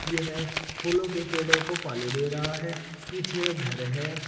यह फूलों के पेड़ों को पानी दे रहा है पीछे एक घर है।